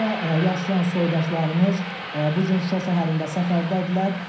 Xaricdə yaşayan soydaşlarımız bu gün Şuşa şəhərində səfərdədirlər.